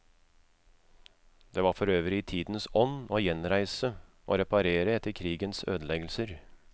Det var forøvrig i tidens ånd å gjenreise og reparere etter krigens ødeleggelser.